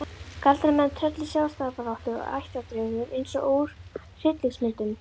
Galdramenn, tröll í sjálfstæðisbaráttu og ættardraugar eins og úr hryllingsmyndum.